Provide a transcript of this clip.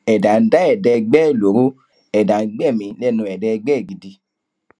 ẹdá ń dá ẹdá ẹgbẹ ẹ lọrọ ẹdá ń gbẹmí lẹnu ẹdá ẹgbẹ ẹ gidi